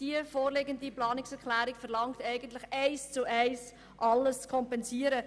Die vorliegende Planungserklärung verlangt jedoch, alles eins zu eins zu kompensieren.